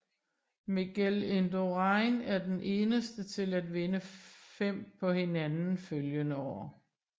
Miguel indurain er den eneste til at vinde fem på hinanden følgende år